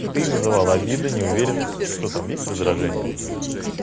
ты называла обида неуверенность что там есть раздражение или нет